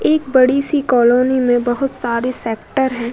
एक बड़ी सी कालोनी में बहुत सारे सेक्टर है।